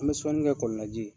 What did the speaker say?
An be sɔnnikɛ kɔlɔn la ji ye.